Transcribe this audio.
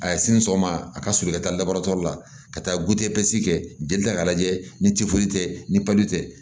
A ye sini sɔgɔma a ka surun i ka taa dabaara tɔ la ka taa gudesi kɛ jeli ta k'a lajɛ ni tɛ ni tɛ